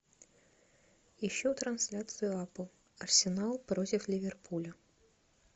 ищу трансляцию апл арсенал против ливерпуля